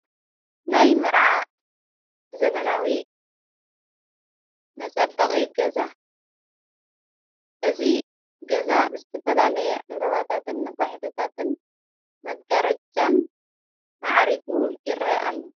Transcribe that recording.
ናይ መርዓ ዘበናዊ መጸበቒ ገዛ እዚ ገዛ ብዝተፈላለየ ዕምበባታትን ነፋሒቶታትን መጋረጃን መዓሪጉ ይርአ ኣሎ።